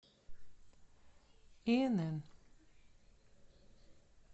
инн